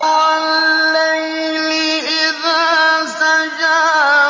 وَاللَّيْلِ إِذَا سَجَىٰ